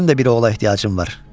Mənim də bir oğula ehtiyacım var.